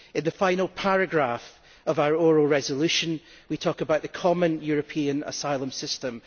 In the final paragraph of our oral resolution we talk about the common European Asylum System.